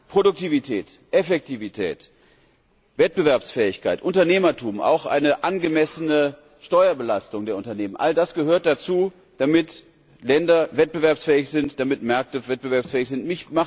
Produktivität, Effektivität, Wettbewerbsfähigkeit, Unternehmertum, auch eine angemessene Steuerbelastung der Unternehmen, all das gehört dazu, damit Länder wettbewerbsfähig sind, damit Märkte wettbewerbsfähig sind.